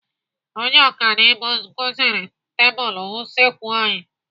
Onye ọkanibo kụziri tebụlụ usekwu anyi.